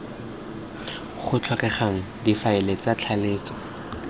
go tlhokegang difaele tsa tlaleletso